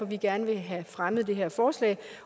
vi gerne vil have fremmet det her forslag